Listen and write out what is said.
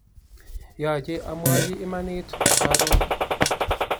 yache amwachi imanit karon